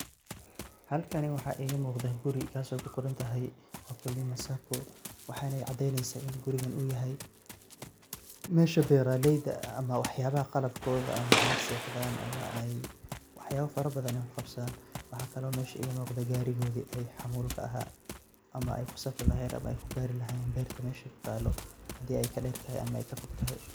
Hlakan waxa igamuqda guri kaso kuqorontahay ukulima sacco, wexeyna cadeneysa mesha beraleyda ah ama waxayaba qalabkoda ama ey sexdan ama wax farabadan kuqabsadan, waxa kalo mesha igamuqda garigi ee xamulka aha ey kusafri lahayen ama ey kugari lahayen berta mesha kutalo hadi ey kadertahay ama kafogtahay.